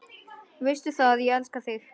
Veistu það, ég elska þig.